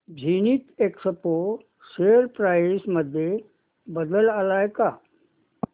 Zenith Expo share price मध्ये बदल आलाय का